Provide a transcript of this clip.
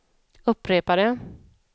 upprepade